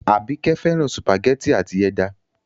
Àbíkẹ́ fẹ́ràn sùpàgẹ́tì àti ẹja.